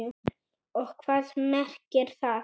Og hvað merkir það?